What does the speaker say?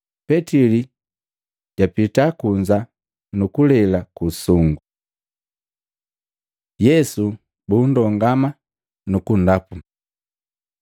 Petili japita kunza nukulela ku usungu. Yesu bundongama nu kundapu Matei 26:67-68; Maluko 14:65